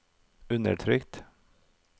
undertrykt